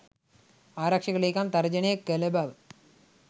ආරක්ෂක ලේකම් තර්ජනය කළ බව